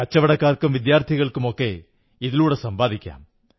കച്ചവടക്കാർക്കും വിദ്യാർഥികൾക്കുമൊക്കെ ഇതിലൂടെ സമ്പാദിക്കാം